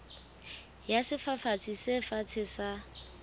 ya sefafatsi se fatshe sa